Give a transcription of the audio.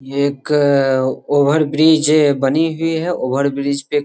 ये एक over bridge बनी हुई है ओवर ब्रिज पे --